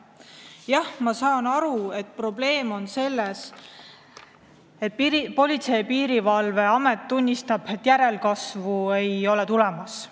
Jah, ma saan aru, probleem on selles, et Politsei- ja Piirivalveamet tunnistab, et järelkasvu ei ole tulemas.